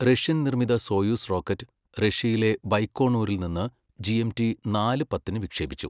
Russian നിർമ്മിത Soyuz rocket, റഷ്യയിലെ ബൈകോണൂരിൽ നിന്ന് ജിഎംടി നാല് പത്തിന് വിക്ഷേപിച്ചു.